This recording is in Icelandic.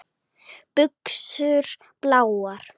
Buxur bláar.